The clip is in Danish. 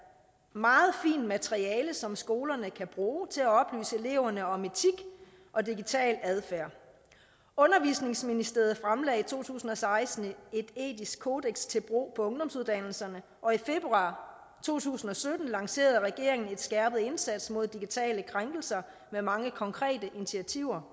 meget fint materiale som skolerne kan bruge til at oplyse eleverne om etik og digital adfærd undervisningsministeriet fremlagde i to tusind og seksten et etisk kodeks til brug for ungdomsuddannelserne og i februar to tusind og sytten lancerede regeringen en skærpet indsats mod digitale krænkelser med mange konkrete initiativer